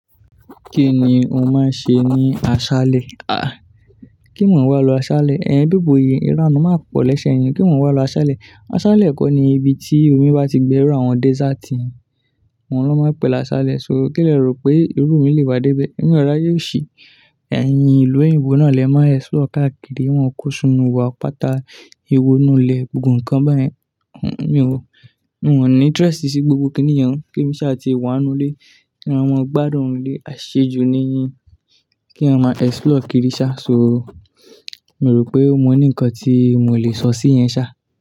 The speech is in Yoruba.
Kí ni ó máa ń ṣe ní aṣálẹ̀? Kí ni mò ń wá lọ aṣálẹ̀? Ẹ̀yin bíbòye, ìranù máa pọ̀ lẹ́sẹ̀ yín. Kí mò ń wá lọ aṣálẹ̀? Aṣálẹ̀ kọ́ ni ibi tí omi bá ti gbẹ rú àwọn desert. Oun ni won máa ń pè é láṣálẹ̀. So, kí lẹ̀ rò pé irú mi lè wá dé bẹ́ẹ̀? Èmi ò ráyé òṣì. Ẹ̀yin ìlú òyìnbó náà lẹ máa explore káàkiri. Wọ́n kó sinu wọ́ọ̀pàtàa ìwọ̀nùlẹ̀ gbogbo nǹkan báyẹn. Mí ò ní interest sí gbogbo kíníyẹn. Ke mi sá ti wa ninu ile À ma gbadun ninu ile, àṣejù ni Kí á máa explore kiri sá. So, mi o rò pé mo ní nkan tí mò lè sọ sí yẹn sá.